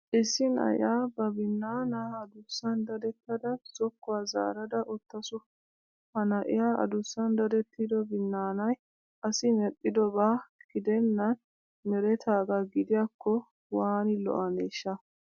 Issi na'iyaa ba binnaanaa adussan dadettada zokkuwaa zaarada uttaasu. Ha na'iyaa adussan dadettido binnaanay asi medhdhidobaa gidennan meretaagaa gidiyaakko waani lo'aneeshsha!!